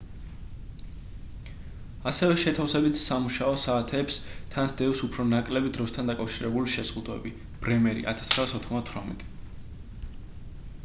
ასევე შეთავსებითი სამუშაო საათებს თან სდევს უფრო ნაკლები დროსთან დაკავშირებული შეზღუდვები. ბრემერი 1998